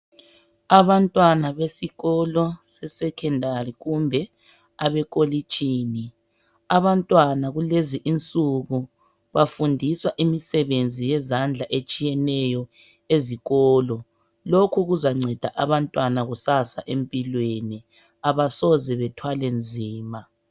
Abantwana besikolo sesecondary kumbe abantwana abekolitshini. Abantwana kulezi insuku bafundiswa imisebenzi yezandla etshiyeneyo ezikolo. Lokhu kuzanceda abantwana kusasa empilweni. Abasoze bethwale nzima.